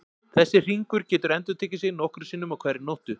Þessi hringur getur endurtekið sig nokkrum sinnum á hverri nóttu.